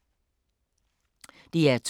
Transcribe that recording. DR2